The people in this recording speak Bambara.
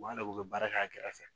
U b'a la k'u bɛ baara kɛ a kɛrɛfɛ